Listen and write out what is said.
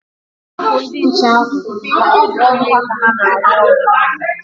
Hapụ ndi nche ahụ na o bụ ọrụ ha ka ha na-arụ ọrụ.